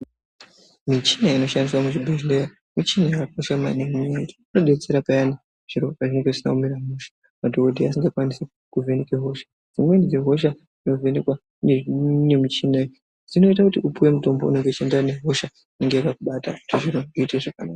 Michini inoshandiswa muzvibhedhlera michini yakakosha maningi ngekuti inotidetsera payane zviro pazvinenge zvisina kumira mushe wovhenekwe hosha , dzimweni dzehosha dzinovhenekwa ngemuchini iyi dzinoita kuti upiwe mutombo unoenderana nehosha.